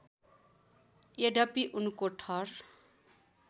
यद्यपि उनको थर